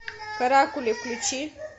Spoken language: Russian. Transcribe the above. каракули включи